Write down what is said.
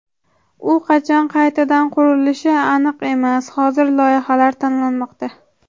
U qachon qaytadan qurilishi aniq emas , hozir loyihalar tanlanmoqda .